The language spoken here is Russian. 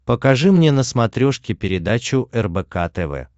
покажи мне на смотрешке передачу рбк тв